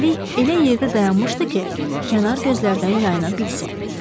Üstəlik elə yerdə dayanmışdı ki, kənar gözlərdən yayına bilsin.